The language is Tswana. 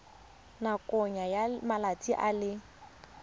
nakong ya malatsi a le